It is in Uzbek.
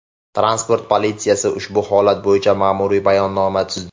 Transport politsiyasi ushbu holat bo‘yicha ma’muriy bayonnoma tuzdi.